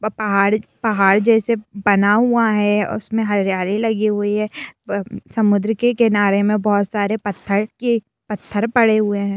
व पहाड़ पहाड़ जैसे बना हुआ है और उसमे हरियाली लगी हुई है ब समुद्र के किनारे में बहुत सारे पत्थर के पत्थर पड़े हुए है।